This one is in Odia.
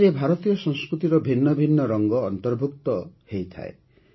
ଏଥିରେ ଭାରତୀୟ ସଂସ୍କୃତିର ଭିନ୍ନଭିନ୍ନ ରଙ୍ଗ ଅନ୍ତର୍ଭୁକ୍ତ ହୋଇଥାଏ